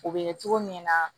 O bɛ kɛ cogo min na